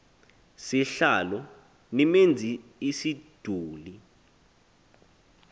sihlalo nimenz isiduli